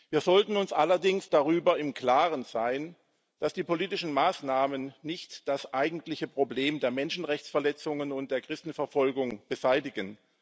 Wir sollten uns allerdings darüber im Klaren sein, dass die politischen Maßnahmen nicht das eigentliche Problem der Menschenrechtsverletzungen und der Christenverfolgung beseitigen.